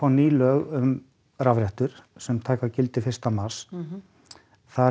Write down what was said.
ný lög um rafrettur taka gildi fyrsta mars þar